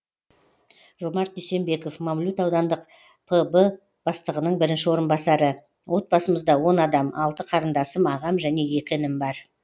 жомарт дүйсенбеков мамлют аудандық пб бастығының бірінші орынбасары отбасымызда он адам қарындасым ағам және інім бар